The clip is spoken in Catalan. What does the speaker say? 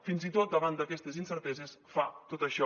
fins i tot davant d’aquestes incerteses fa tot això